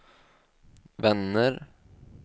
vänner